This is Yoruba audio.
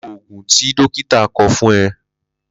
Lo oògùn tí dókítà kọ fún ẹ!